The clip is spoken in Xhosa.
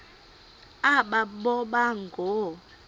aba boba ngoo